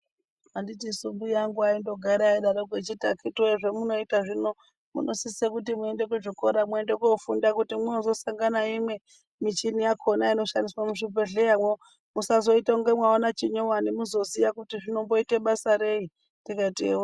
Handitisu mbuya angu aindogara eidarokwo echiti akhiti woye zvamunoita zvino munosisa kuti muende kuzvikora muende kofunda kuti mwozosangana nayo michini yakhona inoshandiswa muzvibhedhleyamwo musazoita kunge mwaona chinyowani muzoziya kuti inoita basa rei ndikati ewoni.